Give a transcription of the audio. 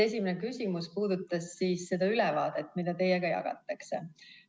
Esimene küsimus puudutas seda ülevaadet, mida teiega jagatakse.